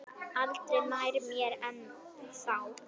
Aldrei nær mér en þá.